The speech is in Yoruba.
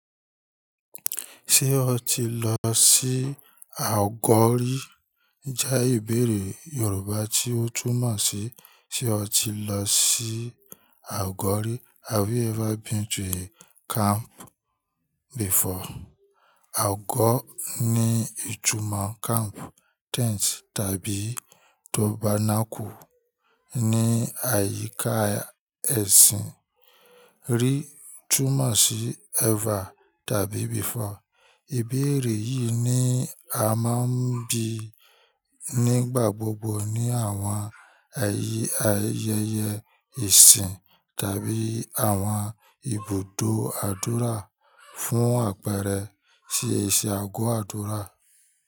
"Ṣé o ti lọ sí àgọ́ rí?" jẹ́ ìbéèrè Yorùbá tí ó túmọ̀ sí, "Ṣé o ti lọ sí àgọ́ rí?" Have you ever been to a camp before? Àgọ́ ni ìtumọ̀ camp, tents tàbí tabernacle ní àyíká ẹ̀sìn. Rí túmọ̀ sí ever tàbí before. Ìbéèrè yìí ni a máa ń bí nígbà gbogbo ní àwọn ẹ̀yì ayẹyẹ ìsìn tàbí àwọn ibùdó àdúrà fún àpẹẹrẹ sí ìsẹ àgọ́ àdúrà.